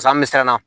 Sa an mi siran na